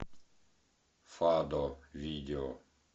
фадо видео